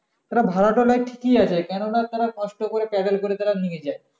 তারা ভাড়া টা নেয় কি আছে কেনো না তারা কষ্ট করে paddle করে নিয়ে যায়